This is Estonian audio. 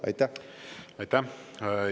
Aitäh!